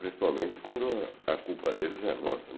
Principalmente quando a culpa deles é nossa.